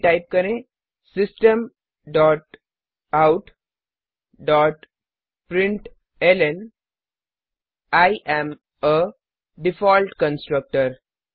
फिर टाइप करें system dot out dot println I am a default constructor